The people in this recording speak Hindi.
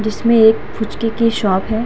जिसमें एक फूचके की शॉप हैं।